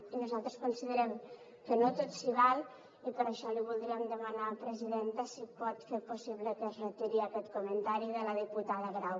i nosaltres considerem que no tot s’hi val i per això li voldríem demanar presidenta si pot fer possible que es retiri aquest comentari de la diputada grau